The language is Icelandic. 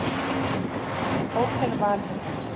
Hótel Valhöll